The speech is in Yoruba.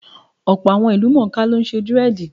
Many celebrities are now doing dread.